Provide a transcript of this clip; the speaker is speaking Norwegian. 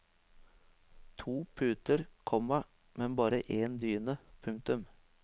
To puter, komma men bare en dyne. punktum